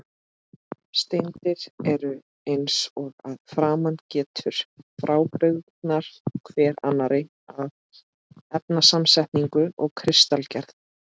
Steindir eru, eins og að framan getur, frábrugðnar hver annarri að efnasamsetningu og kristalgerð.